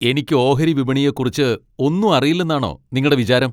എനിക്ക് ഓഹരി വിപണിയെക്കുറിച്ച് ഒന്നും അറിയില്ലെന്നാണോ നിങ്ങടെ വിചാരം?